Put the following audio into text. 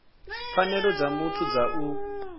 pfanelo dza muthu dza u